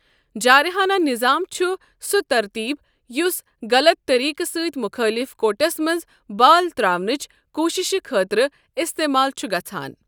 جارحانہ نظام چھُ سۄ ترتیٖب یُس غلط طریقہٕ سۭتۍ مُخٲلف کورٹس منٛز بال تراونٕچ کوٗششہِ خٲطرٕ استعمال چھُ گژھان۔